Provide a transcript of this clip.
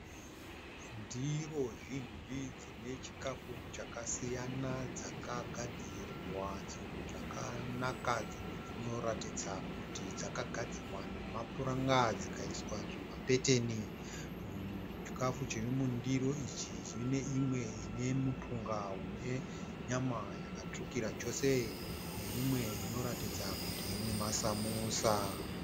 Ndiro zhinji dzine chikafu chakasiyana dzakagadzirwa zvakanaka. Dzimwe dzinoratidza kuti dzakagdzirwa nemapuranga dzikaiswa zvimapeteni. Muchikafu chiri mundiri ichi mune imwe ine mupunga une nyama yakatsvukira chose neimwe inoratidza kuti ine masamusa.